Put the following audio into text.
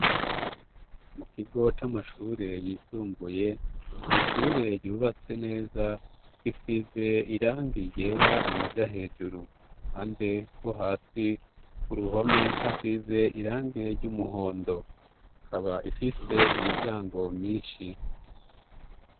Mu kigo c'amashure yisumbuye ni ishure ryubatse neza, risize irangi ryera amaja hejuru. Ku ruhande rwo hasi ku ruhome hasize irangi ry'umuhondo; ikaba ifise imiryango myinshi.